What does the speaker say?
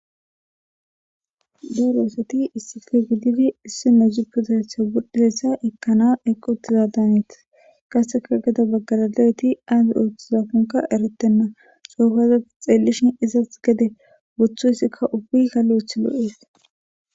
Daroosati issife gidifi issi mezupuzatha gudhidessa ekkana eqqu uttiza daaneti kaseka geda baggalalayti aazi ooththizakonka eretenna soofaza xeellishin izas gede bothu issikka ubbi hale uthilo7ees.